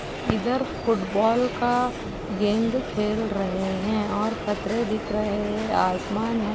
इधर फुटबॉल का गेंद खेल रहे है और पथरे दिख रहे है आसमान है।